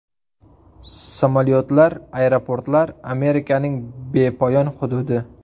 Samolyotlar, aeroportlar, Amerikaning bepoyon hududi.